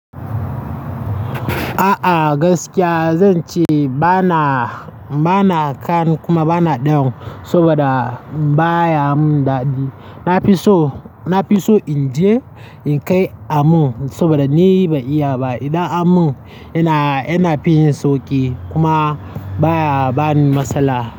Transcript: A'a gaskiya zan ce ba na, ba na kan kuma ba na ɗan saboda baya mun daɗi. Na fi so, na fi so in je in kai a mun saboda ni ban iya ba. Idan an mun yana, yana fin yin sauki kuma baya bani matsala.